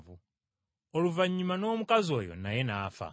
Oluvannyuma n’omukazi oyo naye n’afa.